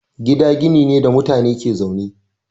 Gida gini ne da mutane ke zaune.